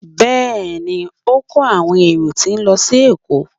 Bẹẹni, o n ko awọn erò ti n lọ si Èko.